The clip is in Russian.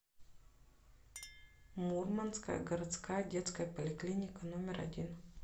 мурманская городская детская поликлиника номер один